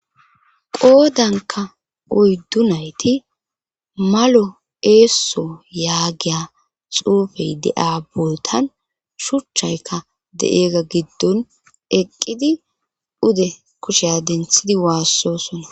qoodanka oyddu nayti malo eesso yaagiya xuufey de7a bootan shuchchayka de7eega giddon eqqidi ude kusheya denthidi waassosona